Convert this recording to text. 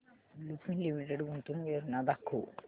Lupin limited गुंतवणूक योजना दाखव